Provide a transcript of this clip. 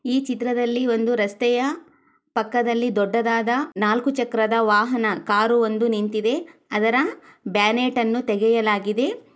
ಈ ಚಿತ್ರದಲ್ಲಿ ಒಂದು ರಸ್ತೆಯ ಪಕ್ಕದಲ್ಲಿ ದೊಡ್ಡದಾದ ನಾಲ್ಕು ಚಕ್ರದ ವಾಹನ ಕಾರು ಒಂದು ನಿಂತಿದೆ ಅದರ ಬ್ಯಾನೆಟ್ ಅನು ತೆಗೆಯಲಾಗಿದೆ.